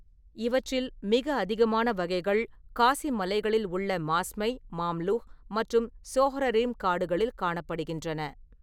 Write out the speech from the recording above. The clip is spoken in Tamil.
இவற்றில், மிக அதிகமான வகைகள் காசி மலைகளில் உள்ள மாஸ்மை, மாம்லூஹ் மற்றும் சோஹ்ரரிம் காடுகளில் காணப்படுகின்றன.